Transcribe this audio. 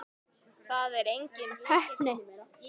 Það er engin heppni.